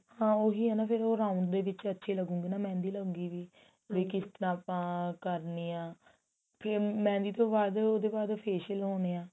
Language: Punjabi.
ਹਾਂ ਉਹੀ ਏ ਨਾ ਫੇਰ ਉਹ round ਦੇ ਵਿੱਚ ਅੱਛੀ ਲਗੂਗੀ ਨਾ mehendi ਲੱਗੀ ਪਈ ਵੀ ਕਿਸ ਤਰਾਂ ਆਪਾਂ ਕਰਨੀ ਆ ਕੇ mehendi ਤੋਂ ਬਾਅਦ ਉਹਦੇ ਬਾਅਦ facial ਹੋਣੇ ਆ